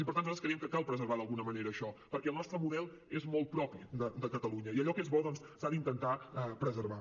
i per tant nosaltres creiem que cal preservar d’alguna manera això perquè el nostre model és molt propi de catalunya i allò que és bo doncs s’ha d’intentar preservar